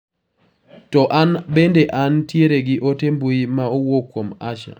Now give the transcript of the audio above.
To an bende an tiere gi ote mbui ma owuok kuom Asha?